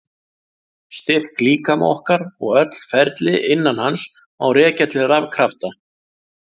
Styrk líkama okkar og öll ferli innan hans má rekja til rafkrafta.